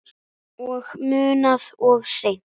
Og munað of seint.